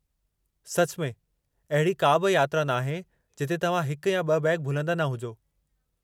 सच में अहिड़ी का बि यात्रा नाहे जिथे तव्हां हिकु या ब॒ बैग भुलंदा न हुजो।